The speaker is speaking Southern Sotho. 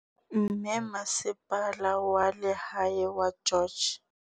Mme Masepala wa Lehae wa George.